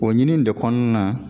O ɲini de kɔnɔna na.